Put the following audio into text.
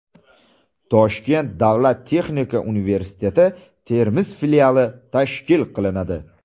Toshkent davlat texnika universiteti Termiz filiali tashkil qilinadi.